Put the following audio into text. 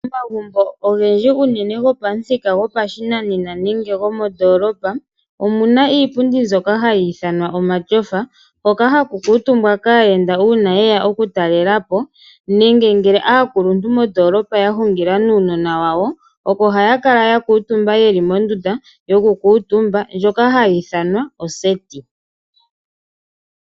Omagumbo ogendji unene gopamuthika gopashinanena nenge gomondolopa, omuna iipundi mbyoka hayi ithanwa omashofa, hoka haku kuutumbwa kaayenda uuna yeya okutalela po. Nenge ngele aakuluntu mondolapa ya hungila nuunona wawo, opo haya kala ya kuutumba yeli mondunda yokukutumba ndjoka hayi ithanwa oseti.